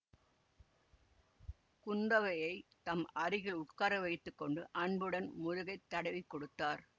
குந்தவையைத் தம் அருகில் உட்கார வைத்து கொண்டு அன்புடன் முதுகை தடவிக் கொடுத்தார்